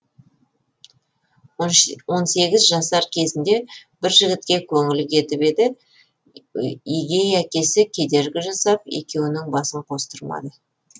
он сегіз жасар кезінде бір жігітке көңілі кетіп еді егей әкесі кедергі жасап екеуінің басын қостырмады